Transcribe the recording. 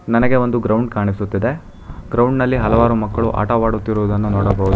ನನಗೆ ಒಂದು ಗ್ರೌಂಡ್ ಕಾಣಿಸುತ್ತಿದೆ ಗ್ರೌಂಡ್ ನಲ್ಲಿ ಹಲವಾರು ಮಕ್ಕಳು ಆಟವಾಡುತ್ತಿರುವುದನ್ನು ನೋಡಬಹುದು.